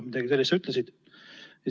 Midagi sellist sa ütlesid.